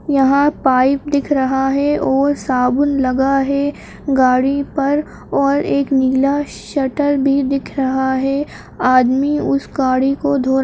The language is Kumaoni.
यहाँ पाइप दिख रहा है और साबुन लगा है गाड़ी पर और एक नीला शटर भी दिख रहा है। आदमी उस गाड़ी को धोरा --